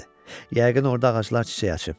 Yəqin orda ağaclar çiçək açıb.